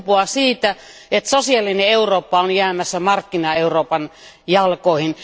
Se kumpuaa siitä, että sosiaalinen Eurooppa on jäämässä markkina Euroopan jalkoihin.